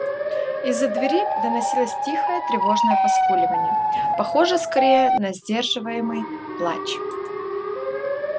из за двери доносилось тихое тревожное поскуливание похожее скорее на сдерживаемый плач